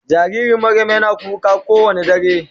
jaririn Mariam Yana kuka ko Wanda dare.